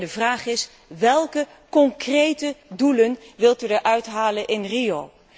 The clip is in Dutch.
Alleen de vraag is welke concrete doelen wilt u halen in Rio?